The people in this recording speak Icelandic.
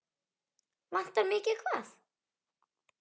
Vantar mig ekki hvað?